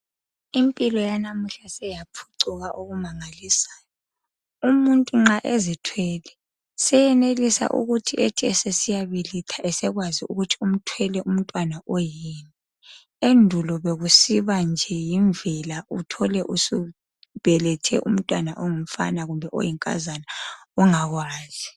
Impilo yanamuhla seyaphucuka okumangalisayo. Umuntu nxa ezithwele seyenelisa ukuthi esesiyabeletha esekwazi ukuthi umthwele umntwana oyini. Endulo bekusiba nje yimvela uthole usubelethe umntwana ongumfana kumbe oyinkazana ungakwazi.